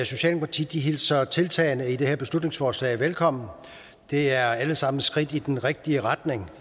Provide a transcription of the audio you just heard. socialdemokratiet hilser tiltagene i det her beslutningsforslag velkommen de er alle sammen et skridt i den rigtige retning